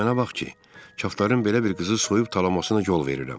Dil mənə bax ki, çafdarların belə bir qızı soyub talamasına yol verirəm.